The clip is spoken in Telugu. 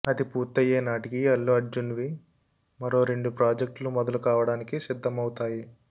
అది పూర్తయ్యే నాటికి అల్లు అర్జున్వి మరో రెండు ప్రాజెక్ట్లు మొదలు కావడానికి సిద్ధమవుతాయి